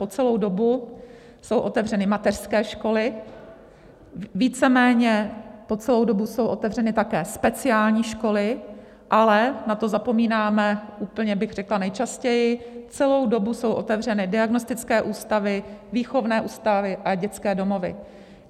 Po celou dobu jsou otevřeny mateřské školy, víceméně po celou dobu jsou otevřeny také speciální školy, ale na to zapomínáme úplně, bych řekla, nejčastěji, celou dobu jsou otevřeny diagnostické ústavy, výchovné ústavy a dětské domovy.